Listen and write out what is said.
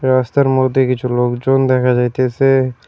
রাস্তার মধ্যে দিয়ে কিছু লোকজন দেখা যাইতেসে।